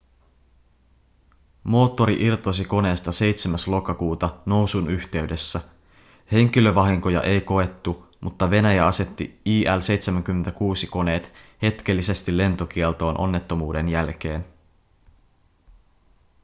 moottori irtosi koneesta 7. lokakuuta nousun yhteydessä. henkilövahinkoja ei koettu mutta venäjä asetti il-76-koneet hetkellisesti lentokieltoon onnettomuuden jälkeen